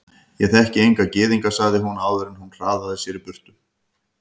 Ég þekki enga gyðinga sagði hún áður en hún hraðaði sér í burtu.